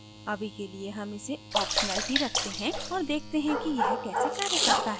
अभी के लिए हम इसे optional ही रखते हैं और देखते हैं कि यह कैसे कार्य करता है